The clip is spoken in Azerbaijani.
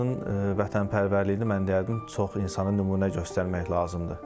Rəşadın vətənpərvərliyinə mən deyərdim çox insana nümunə göstərmək lazımdır.